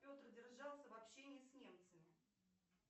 петр держался вообще не с немцами